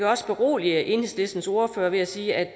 også berolige enhedslistens ordfører med at sige at